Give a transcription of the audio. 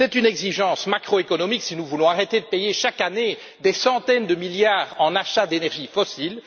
C'est une exigence macroéconomique si nous voulons arrêter de dépenser chaque année des centaines de milliards en achat d'énergie fossile.